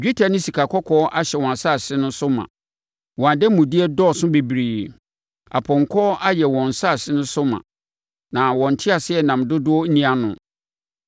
Dwetɛ ne sikakɔkɔɔ ahyɛ wɔn asase no so ma; wɔn ademudeɛ dɔɔso bebree. Apɔnkɔ ayɛ wɔn asase no so ma; na wɔn nteaseɛnam dodoɔ nni ano.